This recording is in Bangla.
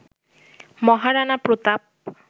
মহারানা প্রতাপ